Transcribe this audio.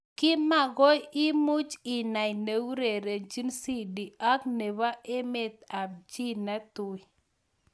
Kimakoi imuch inai neurerenjin Sidi ak nebo emet ab chi netui.